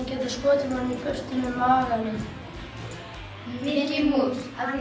getur skotið manni burtu með maganum Mikki mús af því